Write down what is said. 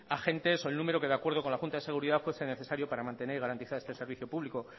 agentes o el número que de acuerdo con la junta de seguridad fuese necesario para mantener y garantizar este servicio público